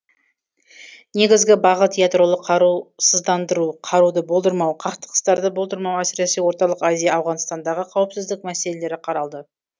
негізгі бағыт ядролық қарусыздандыру қаруды болдырмау қақтығыстарды болдырмау әсіресе орталық азия ауғанстандағы қауіпсіздік мәселелері қаралды